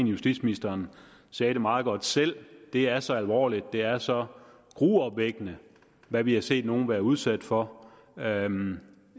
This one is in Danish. justitsministeren sagde det meget godt selv det er så alvorligt det er så gruopvækkende hvad vi har set nogle være udsat for jamen